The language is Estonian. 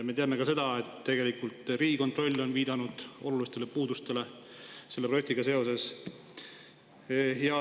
Me teame ka seda, et Riigikontroll on viidanud olulistele puudustele selle projektiga seoses.